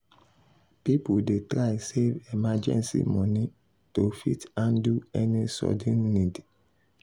people dey try save emergency money to fit handle any sudden need.